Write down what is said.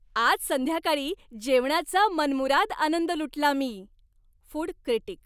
आज संध्याकाळी जेवणाचा मनमुराद आनंद लुटला मी. Food critic